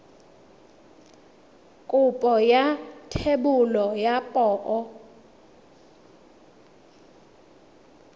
kopo ya thebolo ya poo